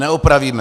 Neopravíme!